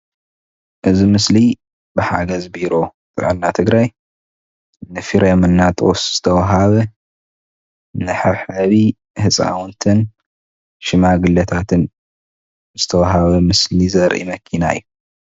እዚ ምስሊ ብሓገዝ ቢሮ ጥዕና ትግራይ ንፍሬምናጦስ ዝተዋሃበ መሐብሐቢ ህፃውንትን ሽማግለታትን ዝተዋሃበ ምስሊ ዘርኢ መኪና እዩ